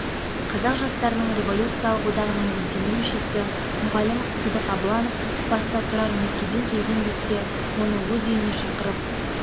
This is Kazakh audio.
қазақ жастарының революциялық одағының белсенді мүшесі мұғалім сыдық абыланов баста тұрар меркеден келген бетте оны өз үйіне шақырып